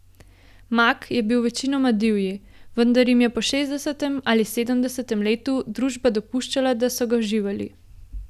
Mak je bil večinoma divji, vendar jim je po šestdesetem ali sedemdesetem letu družba dopuščala, da so ga uživali.